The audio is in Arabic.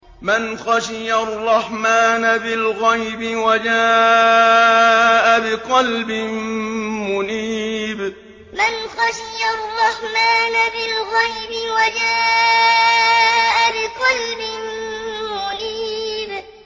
مَّنْ خَشِيَ الرَّحْمَٰنَ بِالْغَيْبِ وَجَاءَ بِقَلْبٍ مُّنِيبٍ مَّنْ خَشِيَ الرَّحْمَٰنَ بِالْغَيْبِ وَجَاءَ بِقَلْبٍ مُّنِيبٍ